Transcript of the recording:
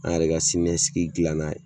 An yɛrɛ ka siniɲɛsigi dilan n'a ye